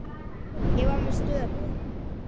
Ég var með störu.